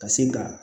Ka se ka